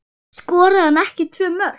Skoraði hann ekki tvö mörk?